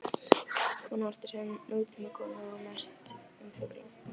Hann var enginn siðlaus fulltrúi auðvaldsins.